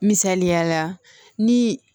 Misaliya la ni